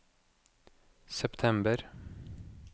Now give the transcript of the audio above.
september